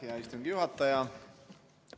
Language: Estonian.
Aitäh, hea istungi juhataja!